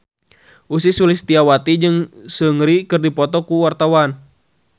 Ussy Sulistyawati jeung Seungri keur dipoto ku wartawan